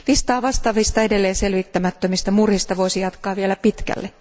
Listaa vastaavista edelleen selvittämättömistä murhista voisi jatkaa vielä pitkälle.